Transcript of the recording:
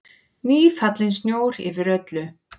Nýfallinn snjór yfir öllu.